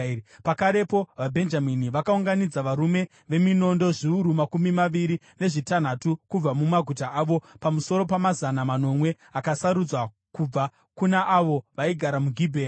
Pakarepo vaBhenjamini vakaunganidza varume veminondo zviuru makumi maviri nezvitanhatu kubva mumaguta avo, pamusoro pamazana manomwe akasarudzwa kubva kuna avo vaigara muGibhea.